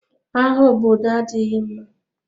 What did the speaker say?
Agha obodo adịghị mma.